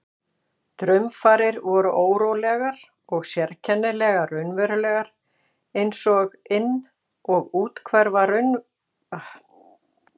Draumfarir voru órólegar og sérkennilega raunverulegar einsog inn- og úthverfa veruleikans hefðu ruglast í ríminu.